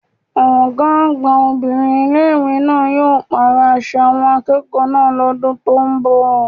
Ọ̀gá àgbà obìnrin ilé ìwé náà yóò pàrọ̀ aṣọ àwọn akẹ́kọ̀ọ́ náà lọ́dún tó ń bò